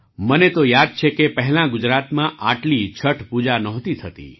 મને તો યાદ છે કે પહેલાં ગુજરાતમાં આટલી છઠ પૂજા નહોતી થતી